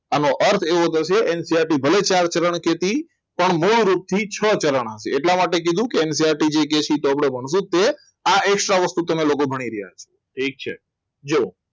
આનો અર્થ એવો થશે NCERT ભલે ચાર જણ કે તે પણ મૂળ રૂપથી છ જણ હશે એટલા માટે કીધું કે NCERT કે તો આપણે ભણશું તે આપણે એક્સ્ટ્રા વસ્તુ આપી તમે ભણી રહ્યા છો ઠીક છે જુઓ